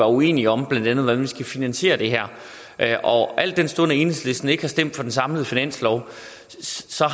uenige om blandt andet hvordan vi skal finansiere det her al den stund at enhedslisten ikke har stemt for den samlede finanslov